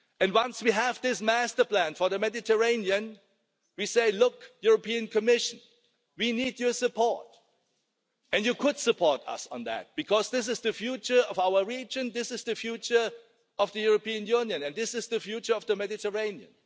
Once we have this master plan for the Mediterranean we say, look, European Commission, we need your support, and you could support us on that because this is the future of our region, this is the future of the European Union and this is the future of the Mediterranean.